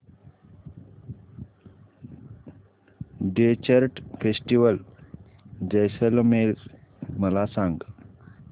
desert festival Jaisalmer मला सांग